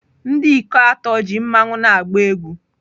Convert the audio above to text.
Ndị ikom atọ ji mmanwu na-agba egwú